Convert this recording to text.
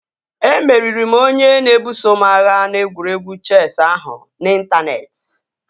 Emeriri m onye na-ebuso m agha n'egwuregwu chesị ahụ nke n'intaneeti